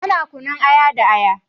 Ana kunun aya da aya.